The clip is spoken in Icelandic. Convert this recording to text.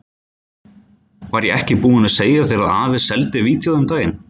Var ég ekki búinn að segja þér að afi seldi vídeóið um daginn?